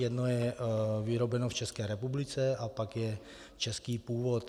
Jedno je vyrobeno v České republice a pak je český původ.